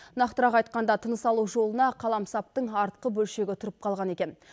нақтырақ айтқанда тыныс алу жолына қаламсаптың артқы бөлшегі тұрып қалған екен